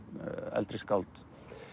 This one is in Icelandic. eldri skáld